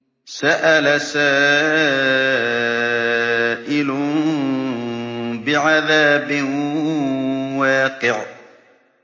سَأَلَ سَائِلٌ بِعَذَابٍ وَاقِعٍ